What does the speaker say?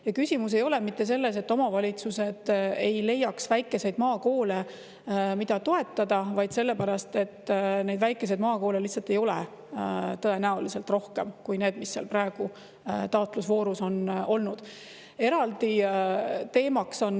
Ja küsimus ei ole mitte selles, et omavalitsused ei leiaks väikeseid maakoole, mida toetada, vaid selles, et neid väikeseid maakoole lihtsalt ei ole tõenäoliselt rohkem kui need, mis seal praegu taotlusvoorus on olnud.